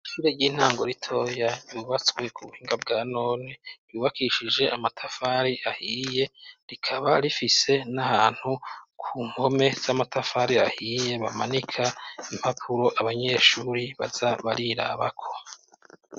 Ishure ry'intango ritoya, yubatswe ku buhinga bwa none, ryubakishije amatafari ahiye, rikaba rifise n'ahantu ku mpome z'amatafari ahiye, bamanika impapuro abanyeshuri baja barirabako.